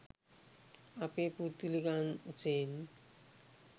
අපේ පුද්ගලික අංශයෙන්